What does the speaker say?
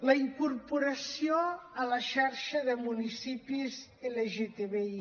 la incorporació a la xarxa de municipis lgtbi